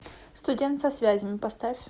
студент со связями поставь